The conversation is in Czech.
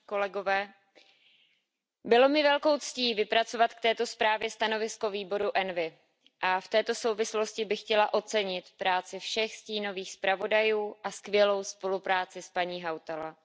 Pane předsedající, bylo mi velkou ctí vypracovat k této zprávě stanovisko výboru ENVI. A v této souvislosti bych chtěla ocenit práci všech stínových zpravodajů a skvělou spolupráci s paní Hautalaovou.